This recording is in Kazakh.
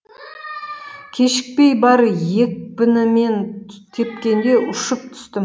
кешікпей бар екпінімен тепкенде ұшып түстім